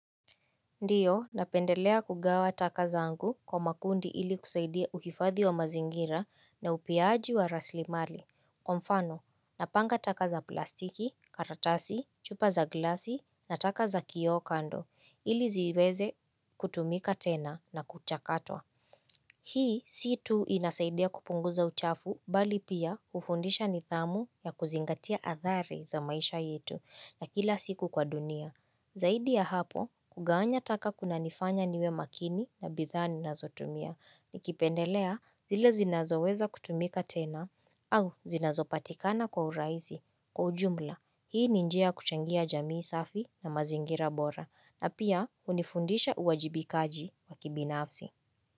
Ndiyo, napendelea kugawa taka zangu kwa makundi ili kusaidia uhifadhi wa mazingira na upiaji wa rasilimali. Kwa mfano, napanga taka za plastiki, karatasi, chupa za glasi na taka za kioo kando ili ziweze kutumika tena na kuchakatwa. Hii, si tu inasaidia kupunguza uchafu bali pia hufundisha nidhamu ya kuzingatia athari za maisha yetu ya kila siku kwa dunia. Zaidi ya hapo kugawanya taka kunanifanya niwe makini na bidhaa ninazotumia ni kipendelea zile zinazoweza kutumika tena au zinazo patikana kwa urahisi kwa ujumla hii ni njia ya kuchangia jamii safi na mazingira bora na pia hunifundisha uwajibikaji wakibinafsi.